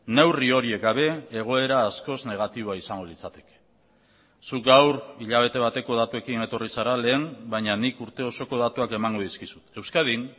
neurri horiek gabe egoera askoz negatiboa izango litzateke zu gaur hilabete bateko datuekin etorri zara lehen baina nik urte osoko datuak emango dizkizut euskadin